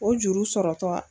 O juru sɔrɔtɔ.